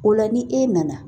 O la ni e nana